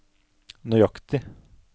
nøyaktig